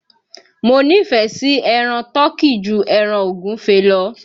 Mo nífẹ̀ẹ́ sí ẹran tọ́kì ju ẹran ògúnfe lọ